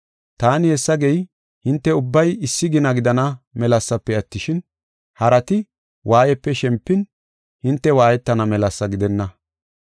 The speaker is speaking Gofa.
Taani hessa gey, hinte ubbay issi gina gidana melasafe attishin, harati waayiyape shempin, hinte waayetana melasa gidenna.